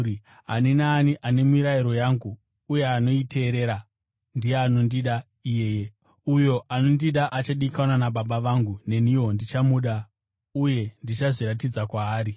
Ani naani ane mirayiro yangu uye anoiteerera, ndiye anondida iyeye. Uyo anondida achadikanwa naBaba vangu, neniwo ndichamuda uye ndichazviratidza kwaari.”